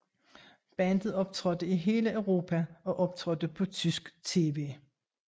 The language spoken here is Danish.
Bandet optrådte i hele Europa og optrådte på tysk tv